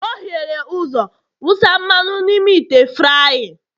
o hiere ụzọ wụsa mmanụ n'ime ite frying